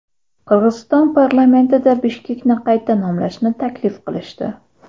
Qirg‘iziston parlamentida Bishkekni qayta nomlashni taklif qilishdi.